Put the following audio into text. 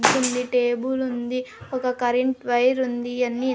table ఉంది ఒక current wire ఉంది ఇయన్ని --